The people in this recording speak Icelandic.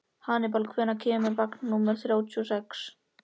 Hannibal, hvenær kemur vagn númer þrjátíu og sex?